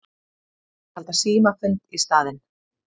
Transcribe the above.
Þeir halda símafund í staðinn.